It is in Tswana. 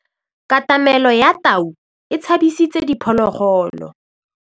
Katamêlô ya tau e tshabisitse diphôlôgôlô.